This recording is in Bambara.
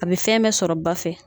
A be fɛn bɛ sɔrɔ ba fɛ.